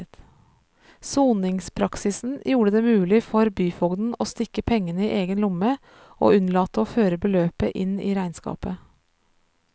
Soningspraksisen gjorde det mulig for byfogden å stikke pengene i egen lomme og unnlate å føre beløpet inn i regnskapet.